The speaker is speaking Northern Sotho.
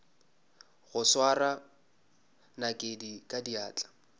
go swara nakedi ka diatla